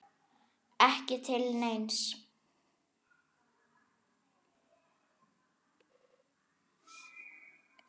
Ekki til neins?